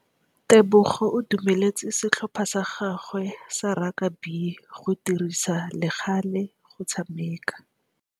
Tebogô o dumeletse setlhopha sa gagwe sa rakabi go dirisa le galê go tshameka.